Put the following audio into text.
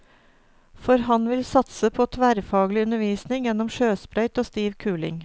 For han vil satse på tverrfaglig undervisning gjennom sjøsprøyt og stiv kuling.